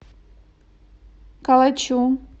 калачу